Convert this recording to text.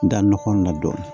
N da nɔgɔ la dɔɔnin